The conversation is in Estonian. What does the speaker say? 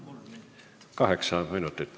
Kaheksa minutit.